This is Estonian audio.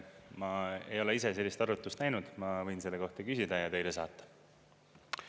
Ma ei ole ise sellist arvutust näinud, ma võin selle kohta küsida ja teile saata.